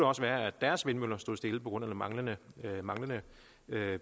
også være at deres vindmøller står stille på grund af manglende manglende